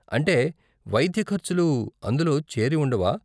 అంటే వైద్య ఖర్చులు అందులో చేరి ఉండవా?